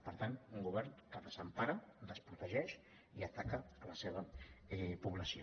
per tant un govern que desempara desprotegeix i ataca la seva població